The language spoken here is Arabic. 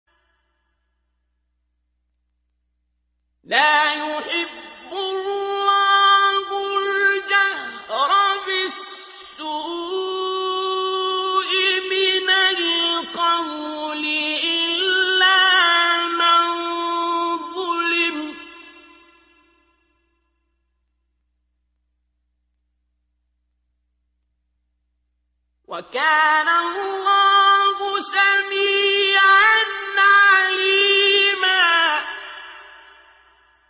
۞ لَّا يُحِبُّ اللَّهُ الْجَهْرَ بِالسُّوءِ مِنَ الْقَوْلِ إِلَّا مَن ظُلِمَ ۚ وَكَانَ اللَّهُ سَمِيعًا عَلِيمًا